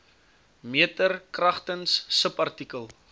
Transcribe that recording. meter kragtens subartikel